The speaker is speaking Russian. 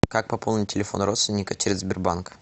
как пополнить телефон родственника через сбербанк